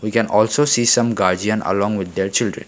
we can also see some guardian along with their children.